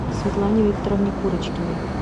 светлане викторовне курочкиной